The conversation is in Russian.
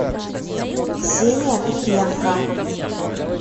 ксения кривенко